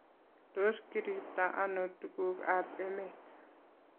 Tos kiriibtai ano tugukabemet?